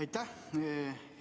Aitäh!